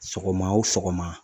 Sɔgɔma o sɔgɔma